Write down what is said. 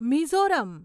Mizoram